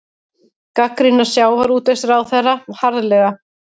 Gagnrýna sjávarútvegsráðherra harðlega